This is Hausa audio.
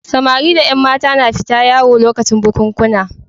Samari da ƴan mata na fita yawo lokacin bukunkuna.